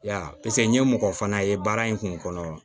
Ya paseke n ye mɔgɔ fana ye baara in kun kɔnɔ